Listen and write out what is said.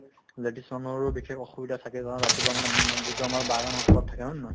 ladies সমূহৰো বিশেষ অসুবিধা থাকে ৰাতিপুৱা মানে উম যিটো আমাৰ বাগান অঞ্চলত থাকে হয় নে নহয়